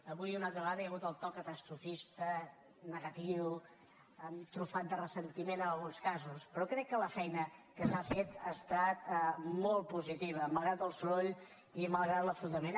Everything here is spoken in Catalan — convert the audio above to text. avui una altra vegada hi ha hagut el to catastrofista negatiu trufat de ressentiment en alguns casos però crec que la feina que s’ha fet ha estat molt positiva malgrat el soroll i malgrat l’enfrontament